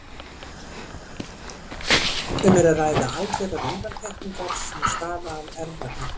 Um er að ræða algjörar undantekningar sem stafa af erfðagalla.